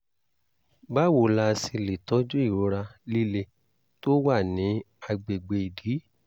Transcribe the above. báwo la ṣe lè tọ́jú ìrora líle tó wà ní àgbègbè ìdí?